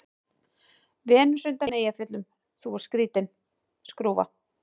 Venus undan Eyjafjöllum:- Þú ert skrýtin skrúfa.